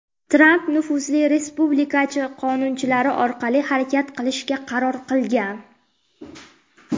Tramp nufuzli respublikachi qonunchilar orqali harakat qilishga qaror qilgan.